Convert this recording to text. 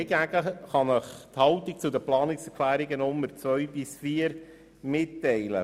Hingegen kann ich Ihnen die Haltung zu den Planungserklärungen 2 bis 4 mitteilen.